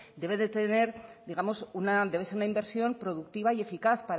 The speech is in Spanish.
debe ser una inversión productiva y eficaz